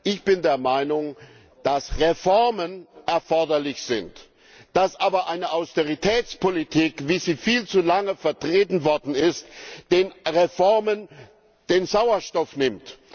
Ich bin der Meinung, dass Reformen erforderlich sind, dass aber eine Austeritätspolitik, wie sie viel zu lange vertreten worden ist, den Reformen den Sauerstoff nimmt.